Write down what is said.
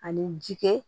Ani jikɛ